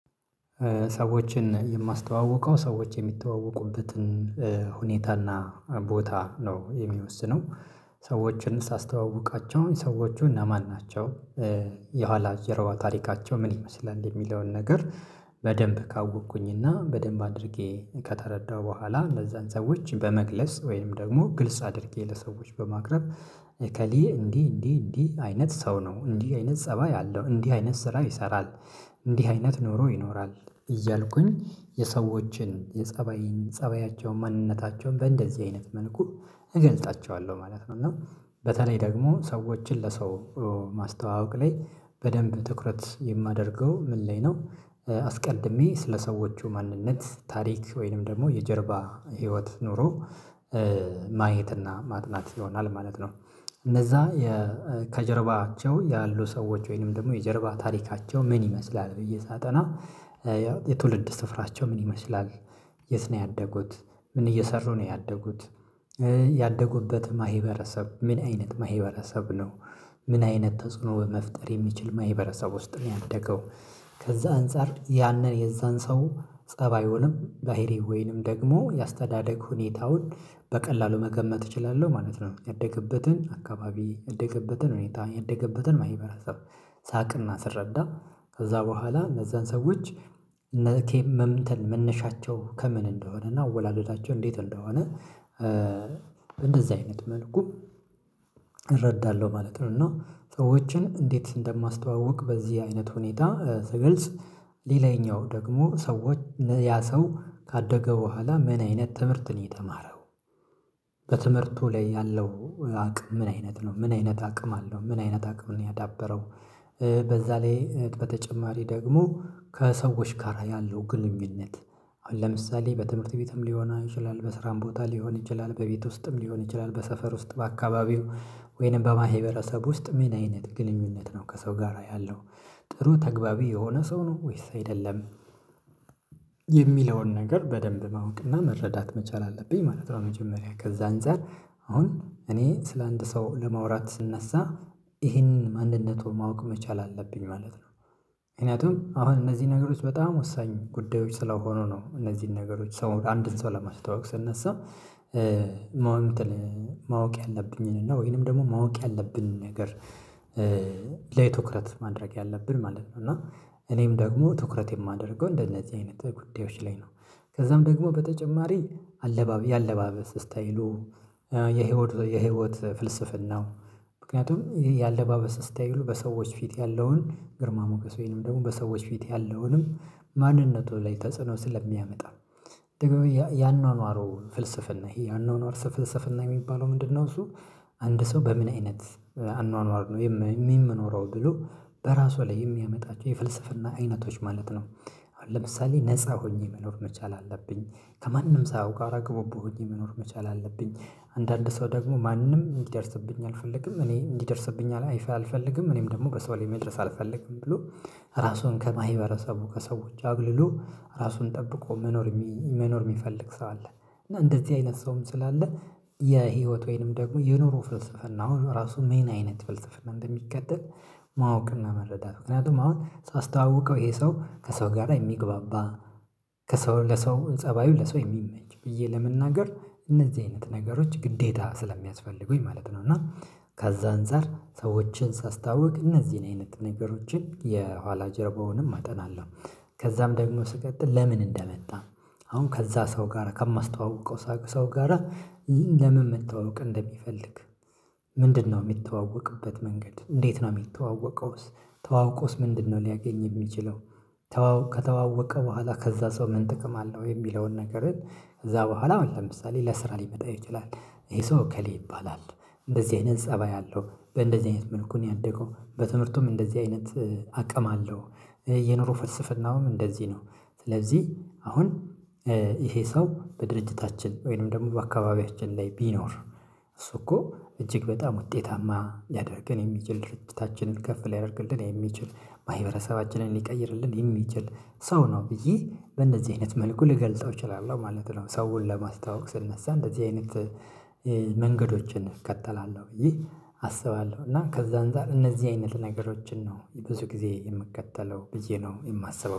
ሰዎችን የማስተዋውቀው ሰዎች የሚተዋወቁበትን ሁኔታና ቦታ ነው የሚወስነው። ሰዎችን ሳስተዋውቃቸው ሰዎች እነማን ናቸው። የኋላ ጀርባ ታሪካቸው ምን ይመስላል የሚለውን ነገር። በደንብ ካወቅኩኝ እና በደንብ አድርጌ ከተረዳሁ በኋላ ለዛን ሰዎች በመግለጽ ወይም ደግሞ ግልጽ አድርጌ ለሰዎች በማቅረብ እከሌ እንዲህ እንዲህ እንዲህ አይነት ሰው ነው እንዲህ አይነት ፀባይ አለው እንዲህ አይነት ስራ ይሰራል። እንዲህ አይነት ኑሮ ይኖራል እያልኩኝ የሰዎችን የፀባይን ፀባያቸውን ማንነታቸውን በእንደዚህ አይነት መልኩ እገልፃቸዋለሁ ማለት ነው። እና በተለይ ደግሞ ሰዎችን ለሰው ማስተዋወቅ ላይ በደንብ ትኩረት የማደርገው ምን ላይ ነው? አስድሜ ስለሰዎቹ ማንነት ታሪክ ወይንም ደግሞ የጀርባ ህይወት ኑሮ ማየትና ማጥናት ይሆናል ማለት ነው። እነዛ ከጀርባቸው ያሉ ሰዎች ወይንም ደግሞ የጀርባ ታሪካቸው ምን ይመስላል ብዬ ሳጠና። የትውልድ ስፍራቸው ምን ይመስላል? የት ነው ያደጉት? ምን እየሰሩ ነው ያደጉት? ያደጉበትም ማህበረሰብ ምን አይነት ማህበረሰብ ነው? ምን አይነት ተጽዕኖ በመፍጠር የሚችል ማህበረሰብ ውስጥ ነው ያደገው? ከዛ አንፃር ያንን የዛን ሰው ፀባዩንም ባህሪውን ወይንም ደግሞ የአስተዳደግ ሁኔታውን በቀላሉ መገመት እችላለሁ ማለት ነው። ያደገበትን አካባቢ ያደገበትን ሁኔታ ያደገበትን ማህበራት ሳቅና ስረዳ ከዛ በኋላ ለዛን ሰዎች። ነኬም መምተን መነሻቸው ከምን እንደሆነ እና አወላለዳቸው እንዴት እንደሆነ። እንደዚህ አይነት መልኩ እረዳለሁ ማለት ነው። እና ሰዎችን እንዴት እንደማስተዋውቅ በዚህ አይነት ሁኔታ ስገልጽ ሌላኛው ደግሞ ሰዎች ያ ሰው ካደገ በኋላ ምን አይነት ትምህርት ነው የተማረው? በትምህርቱ ላይ ያለው አቅም ምን አይነት ነው ምን አይነት አቅም አለው ምን አይነት አቅም ነው ያዳበረው? በዛ ላይ በተጨማሪ ደግሞ ከሰዎች ጋር ያለው ግንኙነት አሁን ለምሳሌ በትምህርት ቤትም ሊሆን ይችላል በስራም ቦታ ሊሆን ይችላል በቤት ውስጥም ሊሆን ይችላል በሰፈር ውስጥ በአካባቢው ወይንም በማህበረሰብ ውስጥ ምን አይነት ግንኙነት ነው ከሰው ጋራ ያለው? ጥሩ ተገቢ የሆነ ሰው ነው ወይስ አይደለም? የሚለውን ነገር በደንብ ማወቅና መረዳት መቻል አለብኝ ማለት ነው። መጀመሪያ ከዛ አንፃር አሁን እኔ ስለአንድ ሰው ለመውራት ስነሳ ይሄንን ማንነቱን ማወቅ መቻል አለብኝ ማለት ነው። ምክንያቱም አሁን እነዚህ ነገሮች በጣም ወሳኝ ጉዳዮች ስለሆኑ ነው እነዚህን ነገሮች ሰው አንድን ሰው ለማስታወቅ ስነሳ ማወቅ ያለብኝን ነው ወይንም ደግሞ ማወቅ ያለብን ነገር ለትኩረት ማድረግ ያለብን ማለት ነው። እና እኔም ደግሞ ትኩረት የማደርገው እንደነዚህ አይነት ጉዳዮች ላይ ነው። ከዛም ደግሞ በተጨማሪ አለባበስ የህይወት ፍልስፍናው ምክንያቱም ይሄ የአለባበስ ስታይሉ በሰዎች ፊት ያለውን ግርማ ሞገስ ወይንም ደግሞ በሰዎች ፊት ያለውንም ማንነቱ ላይ ተጽዕኖ ስለሚያመጣ ደግሞ ያኗኗሩ ፍልስፍና ይሄ ያኗኗር ፍልስፍና የሚባለው ምንድነው? እሱ አንድ ሰው በምን አይነት አኗኗር ነው የሚኖረው ብሎ በራሱ ላይ የሚያመጣቸው የፍልስፍና አይነቶች ማለት ነው። አሁን ለምሳሌ ነፃ ሆኜ መኖር መቻል አለብኝ። ከማንም ሳያውቅ አራግቦ በሆዴ መኖር መቻል አለብኝ። አንዳንድ ሰው ደግሞ ማንም እንዲደርስብኝ አልፈልግም እኔ እንዲደርስብኝ አልፈልግም እኔም ደግሞ በሰው ላይ መድረስ አልፈልግም ብሎ ራሱን ከማህበረሰቡ ከሰዎች አግልሎ ራሱን ጠብቆ መኖር መኖር የሚፈልግ ሰው አለ እና እንደዚህ አይነት ሰውም ስላለ። የህይወት ወይንም ደግሞ የኑሮ ፍልስፍና አሁን ራሱ ሜን አይነት ፍልስፍና እንደሚከተል? ማወቅ እና መረዳት ምክንያቱም አሁን ሳስተዋውቀው ይሄ ሰው ከሰው ጋር የሚግባባ ከሰው ለሰው ፀባዩ ለሰው የሚመች ብዬ ለመናገር እነዚህ አይነት ነገሮች ግዴታ ስለሚያስፈልጉኝ ማለት ነው። እና ካዛ አንፃር ሰዎችን ሳስተዋውቅ እነዚህን አይነት ነገሮችን የኋላ ጀርባውንም አጠናለሁ። ከዛም ደግሞ ስቀጥል ለምን እንደመጣ? አሁን ከዛ ሰው ጋራ ከማስተዋውቀው ሰው ጋራ። ለምን መተዋወቅ እንደሚፈልግ? ምንድነው የሚታወቅበት መንገድ እንዴት ነው የሚታወቀውስ? ታውቆስ ምንድነው ሊያገኝ የሚችለው? ከተዋወቀ በኋላ ከዛ ሰው ምን ጥቅም አለው የሚለውን ነገርን። ከዛ በኋላ ለምሳሌ ለስራ ሊመጣ ይችላል። ይሄ ሰው እከሌ ይባላል። እንደዚህ አይነት ፀባይ አለው በእንደዚህ አይነት መልኩ ነው ያደገው በትምህርቱም እንደዚህ አይነት አቅም አለው። የኑሮ ፈልስፍናውም እንደዚህ ነው። ስለዚህ አሁን ይሄ ሰው በድርጅታችን ወይንም ደግሞ በአካባቢያችን ላይ ቢኖር እሱ እኮ እጅግ በጣም ውጤታማ ያደርገን የሚችል ድርጅታችንን ከፍ ሊያደርግልን የሚችል ማህበረሰባችንን ሊቀይርልን የሚችል ሰው ነው ብዬ በእንደዚህ አይነት መልኩ ልገልፀው እችላለሁ ማለት ነው። ሰውን ለማስተዋወቅ ስነሳ እንደዚህ አይነት መንገዶችን እቀጥላለሁ ብዬ አስባለሁ እና ከዛ አንፃር እነዚህ አይነት ነገሮችን ነው ብዙ ጊዜ የምከተለው ብዬ ነው የማስበው።